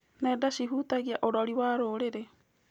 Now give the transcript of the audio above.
Nenda cihutagia ũrori wa rũrĩrĩ.